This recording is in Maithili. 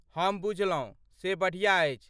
हम बुझलहुँ, से बढ़िया अछि।